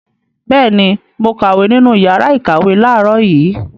Bẹ́ẹ̀ ni, mo kàwé nínú ìyàrá-ìkàwé láàárọ̀ yìí.